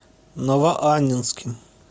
новоаннинским